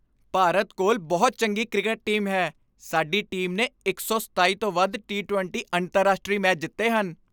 ਭਾਰਤ ਕੋਲ ਬਹੁਤ ਚੰਗੀ ਕ੍ਰਿਕਟ ਟੀਮ ਹੈ ਸਾਡੀ ਟੀਮ ਨੇ ਇੱਕ ਸੌ ਸਤਾਈ ਤੋਂ ਵੱਧ ਟੀ ਵੀਹ ਅੰਤਰਰਾਸ਼ਟਰੀ ਮੈਚ ਜਿੱਤੇ ਹਨ